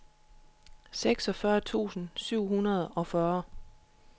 seksogfyrre tusind syv hundrede og fyrre